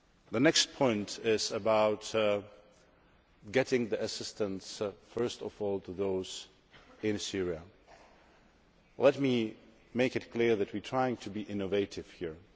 The next point is about getting the assistance first of all to those in Syria. Let me make it clear that we are trying to be innovative here.